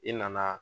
I nana